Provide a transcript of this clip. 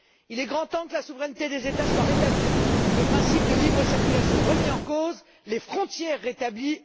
Il est grand temps que la souveraineté des États soit rétablie, le principe de libre circulation remis en cause et les frontières rétablies.